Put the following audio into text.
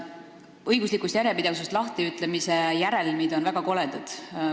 Õiguslikust järjepidevusest lahtiütlemise järelmid on väga koledad.